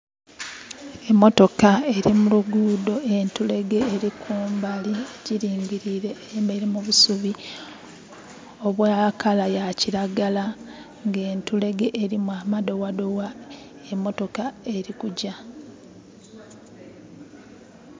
Emotoka eri mu lugudho, entulege eri kumbali egiringirile. Eyemeleire mu busubi obwa kala ya kiragala nga entulege erimu amadowadowa. Emotoka eri kugya.